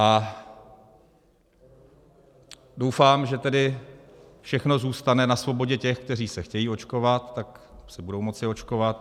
A doufám, že tedy všechno zůstane na svobodě těch, kteří se chtějí očkovat, tak se budou moci očkovat.